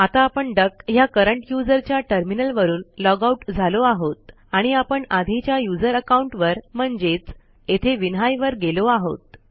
आता आपण डक ह्या करंट यूझर च्या टर्मिनलवरून लॉगआउट झालो आहोत आणि आपण आधीच्या userअकाऊंट वर म्हणजेच येथे विन्हाई वर गेलो आहोत